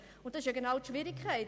Genau das ist die Schwierigkeit.